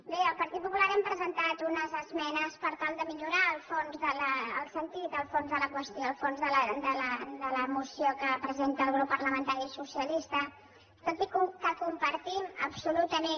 bé el partit popular hem presentat unes esmenes per tal de millorar el sentit del fons de la qüestió el fons de la moció que presenta el grup parlamentari socialista tot i que compartim absolutament